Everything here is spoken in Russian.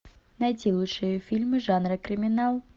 найти лучшие фильмы жанра криминал